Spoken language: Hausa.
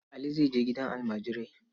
Ali zai je gidan almajirai.